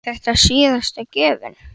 Breki: Er þetta síðasta gjöfin?